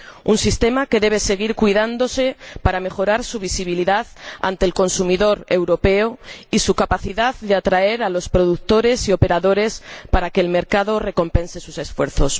Un sistema que debe seguir cuidándose para mejorar su visibilidad ante el consumidor europeo y su capacidad de atraer a los productores y operadores para que el mercado recompense sus esfuerzos.